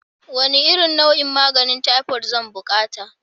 Wane nau'in maganin taifot zan buƙati?